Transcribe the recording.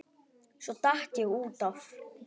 Svo datt ég út af.